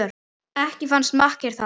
Ekki fannst makker það